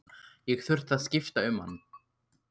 Ég þurfti að skipta um hann.